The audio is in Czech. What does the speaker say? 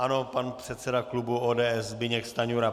Ano, pan předseda klubu ODS Zbyněk Stanjura.